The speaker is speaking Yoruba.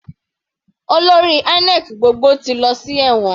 Olórí INEC gbogbo ti lọ sí ẹ̀wọ̀n.